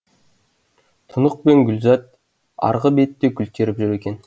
тұнық пен гүлзат арғы бетте гүл теріп жүр екен